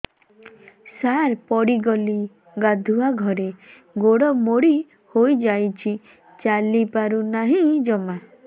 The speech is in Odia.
ସାର ପଡ଼ିଗଲି ଗାଧୁଆଘରେ ଗୋଡ ମୋଡି ହେଇଯାଇଛି ଚାଲିପାରୁ ନାହିଁ ଜମା